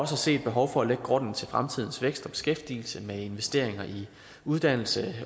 se et behov for at lægge grunden til fremtidens vækst og beskæftigelse med investeringer i uddannelse